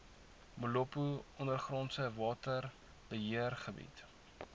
molopo ondergrondse waterbeheergebied